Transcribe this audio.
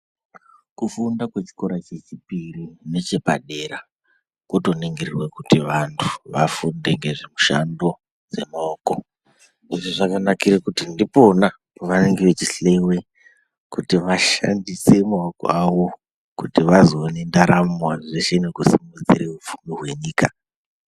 Kufunda kwechikora chechipiri nechepadera kotoningirirwe kuti vantu vafunde ngezvemushando dzemaoko. Izvi zvakanakire kuti ndipona pavanenge vechihloyiwe kuti vashandise maoko awo, kuti vazoone ndaramo zveshe nekusimudzire upfumi hwenyika.